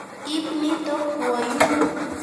Ip nitok kwo yuun.